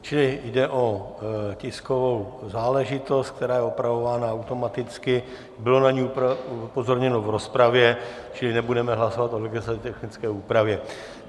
Čili jde o tiskovou záležitost, která je opravována automaticky, bylo na ni upozorněno v rozpravě, čili nebudeme hlasovat o legislativně technické úpravě.